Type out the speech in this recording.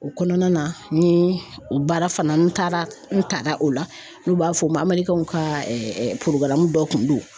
O kɔnɔna na ni o baara fana n taara n tala o la n'u b'a fɔ o ma amerikɛnw ka dɔ kun don